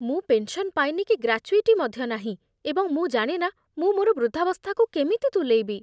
ମୁଁ ପେନ୍ସନ୍ ପାଏନି କି ଗ୍ରାଚ୍ୟୁଇଟି ମଧ୍ୟ ନାହିଁ, ଏବଂ ମୁଁ ଜାଣେନା ମୁଁ ମୋର ବୃଦ୍ଧାବସ୍ଥାକୁ କେମିତି ତୁଲେଇବି।